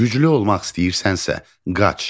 Güclü olmaq istəyirsənsə, qaç.